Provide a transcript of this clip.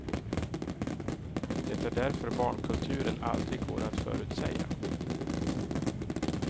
Det är därför barnkulturen aldrig går att förutsäga.